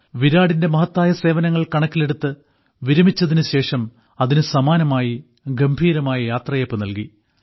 വിരാടിന്റെ മഹത്തായ സേവനങ്ങൾ കണക്കിലെടുത്ത് വിരമിച്ചതിനുശേഷം അതിനുസമാനമായി ഗംഭീരമായ യാത്രയയപ്പ് നൽകി